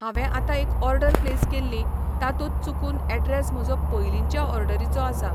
हांवें आतां एक ऑर्डर प्लेस केल्ली, तातूंत चुकून एड्रेस म्हजो पयलींच्या ऑर्डरीचो आसा.